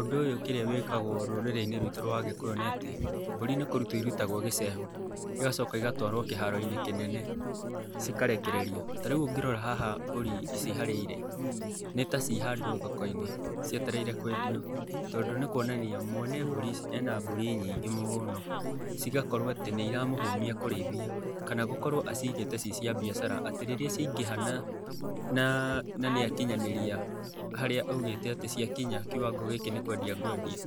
Ũndũ ũyũ kĩrĩa wĩkagwo rũrĩrĩ-inĩ rwitũ rwa agĩkũyũ nĩ atĩ mbũri nĩ kũrutwo irutagwo gicehũ, igacoka igatwarwo kĩharo-inĩ kĩnene, cikarekererio. Ta rĩu ũngĩrora haha mbũri ici harĩa irĩ, nĩ ta ciĩ handũ thoko-inĩ, cietereire kwendio. Tondũ nĩ kuonania mwene mbũri ici ena mbũri nyingĩ mũno, cigakorwo atĩ nĩ iramũhũmia kũrĩithia, kana gũkorwo acigĩte ciĩ cia mbiacara, atĩ rĩrĩa ciaingĩha na nĩ akinyanĩria haríĩ augĩte atĩ ciakinya kiwango gĩkĩ nĩ kwendia ngwendia.